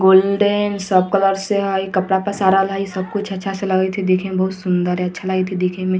golden सब colour से हेय कपड़ा पसारल हेय सब कुछ से लागल हेय देखे में बहुत सुन्दर हेय अच्छा लागएत हेय देखे मे |